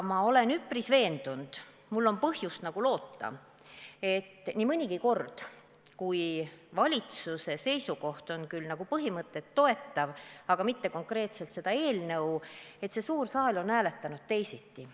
Ma olen üsna veendunud, et mul on põhjust loota, sest nii mõnigi kord, kui valitsuse seisukoht on küll nagu põhimõtet toetav, aga mitte konkreetselt eelnõu toetav, siis see suur saal on hääletanud teisiti.